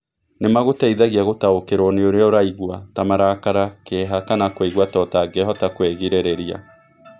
Nĩ magũteithagia gũtaũkĩrwo nĩ ũrĩa ũraigua, ta marakara, kĩeha kana kũigua ta ũtangĩhota kwĩgirĩrĩria.